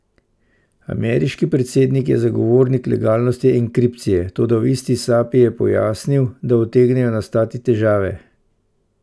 Ameriški predsednik je zagovornik legalnosti enkripcije, toda v isti sapi je pojasnil, da utegnejo nastati težave.